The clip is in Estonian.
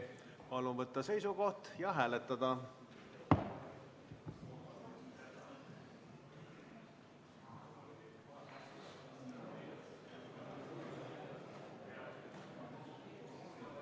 Palun võtta seisukoht ja hääletada!